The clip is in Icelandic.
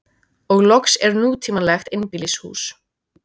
Og loks er nútímalegt einbýlishús.